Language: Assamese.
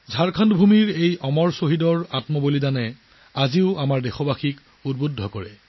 ঝাৰখণ্ড দেশৰ এই অমৰ পুত্ৰসকলৰ বলিদানে এতিয়াও দেশবাসীক অনুপ্ৰাণিত কৰে